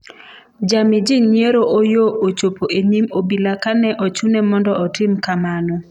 Jami jii nyiero Oyoo ochopo e nyim obila kane ochune mondo otim kamano